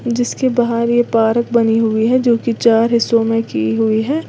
जिसके बाहर ये पार्क बनी हुई है जो की चार हिस्सों में की हुई है।